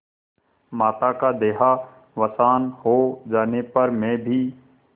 माता का देहावसान हो जाने पर मैं भी